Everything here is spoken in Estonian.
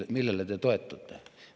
Aga millele te toetute?